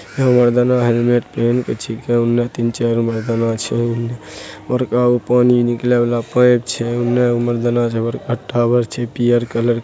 मर्दाना helmet पहिन के छै उने तीनचारगो मर्दाना छै बड़का गो पानी निकले वाला पाइप छै पियर कलर ।